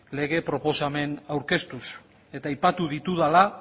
lege proposamen aurkeztuz eta aipatu ditudala